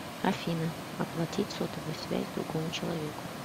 афина оплатить сотовую связь другому человеку